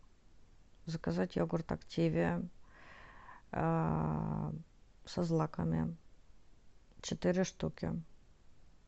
заказать йогурт активиа со злаками четыре штуки